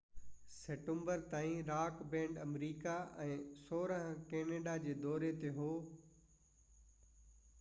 16 September تائين rock band America ۽ Canada جي دوري تي هو